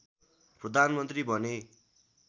प्रधानमन्त्री बने